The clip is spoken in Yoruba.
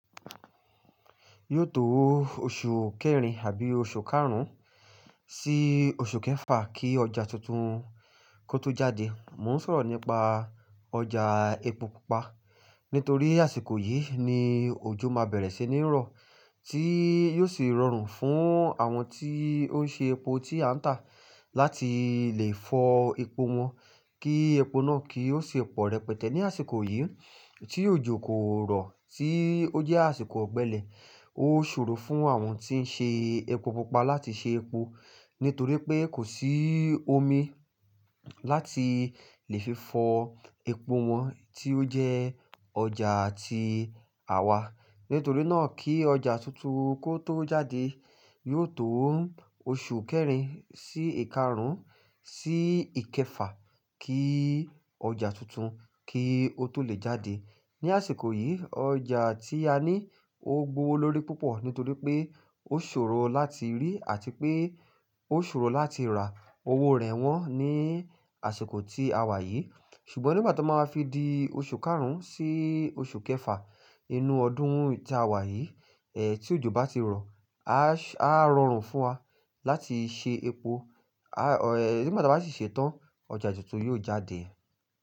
Yóò tó oṣù kẹrin àbí oṣù karùn-ún sí oṣù kẹfà kí ọjà tuntun kó tó jáde. Mo ń sọ̀rọ̀ nípa ọjà epo pupa, nítorí àsìkò yìí ni òjò máa bẹ̀rẹ̀ sí ní rọ, tí yóò sì rọrùn fún àwọn tí ó ń ṣe epo tí a ń tà láti lè fọ epo wọn, kí epo náà kí ó ṣe pọ̀ rẹpẹtẹ ní àsìkò yìí. Tí òjò kò rọ̀ tí ó jẹ́ àsìkò ọ̀gbẹlẹ̀, ó ṣòro fún àwọn tí ń ṣe epo pupa láti ṣe epo, nítorí pé kò sí omi láti lè fi fọ epo wọn tí ó jẹ́ ọjà ti àwa. Nítorí náà kí ọjà tuntun kó tó jáde, yóò tó oṣù kẹrin sí ìkarùn-ún sí ìkẹfà kí ọjà tuntun kí ó tó lè jáde. Ni àsìkò yìí, ọjà tí a ní ó gbowo lórí púpọ̀ nítorí pé ó ṣòro láti rí àti pé ó ṣòro láti rà. Owó rẹ̀ wọ́n ní àsìkò tí a wà yìí. Ṣùgbọ́n nígbà to máa fi di oṣù karùn-ún sí oṣù kẹfà inú ọdún tí a wà yìí, ẹ́ tí òjò bá ti rọ̀, a ṣè á rọrùn fún wa láti ṣe epo, a ẹ́ nígbà tí a bá sì ṣe tán, ọjà tuntun yóò jáde.